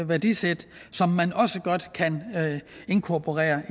værdisæt som man også godt kan inkorporere